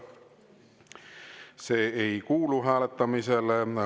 See ei kuulu hääletamisele.